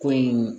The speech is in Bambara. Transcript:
Ko in